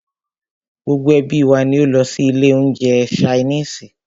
Gbogbo ẹ́bí wa ní o lọ sí ilé oúnjẹ ṣainiisi.